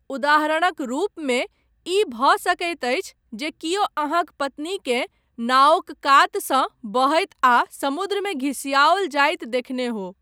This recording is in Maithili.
उदाहरणक रूपमे ई भऽ सकैत अछि जे कियो अहाँक पत्नीकेँ नाओक कातसँ बहैत आ समुद्रमे घिसिआओल जाइत देखने हो।